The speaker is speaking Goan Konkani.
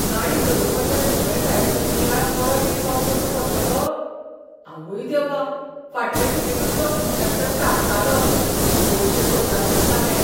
गाडी चलोवपाचे कुशळटायेचो नियाळ परत एक फावट करचो पडटलो? आवय देवा! फाटले खेपेकूच तो इन्स्पेक्टर तापतालो. पयशे सोदतात दिसता हे!